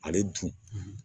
Ale dun